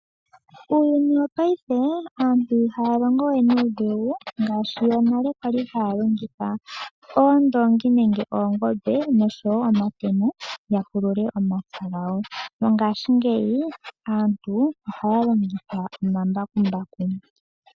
Uuyuni wo paife aantu ihaya longowe nuudhigu ngaashi yonale kwali haya longitha oondongi nenge oongombe noshowo omatemo ya pulule omapya gawo mongashingeyi aantu ohaya longitha omambakumbaku.